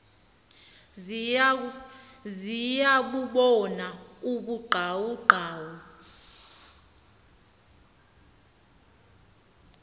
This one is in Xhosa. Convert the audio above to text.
ziya bubona ubuqaqawuli